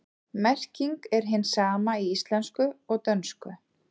Merkingin er hin sama í íslensku og dönsku.